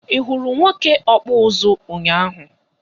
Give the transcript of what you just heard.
I hụrụ nwoke ọkpụ ụzụ ụnyaahụ?